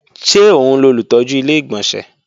Ṣé òun lolùtọ́jú Ilé-ìgbọ̀nsẹ̀?